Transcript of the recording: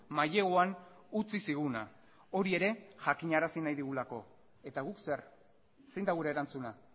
maileguan utzi ziguna hori ere jakinarazi nahi digulako eta guk zer zein da gure erantzuna